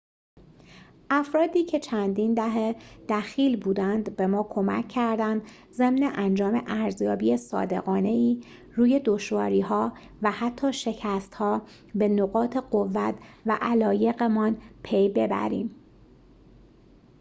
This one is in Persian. افرادی که چندین دهه دخیل بودند به ما کمک کردند ضمن انجام ارزیابی صادقانه‌ای روی دشواری‌ها و حتی شکست‌ها به نقاط قوت و علایق‌مان پی ببریم